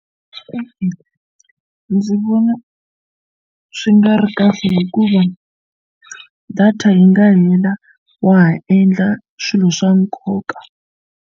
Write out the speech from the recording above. E-e, ndzi vona swi nga ri kahle hikuva data yi nga hela wa ha endla swilo swa nkoka.